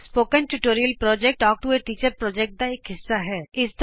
spoken tutorial project talk to a teacher project ਦਾ ਇਕ ਹਿੱਸਾ ਹੈ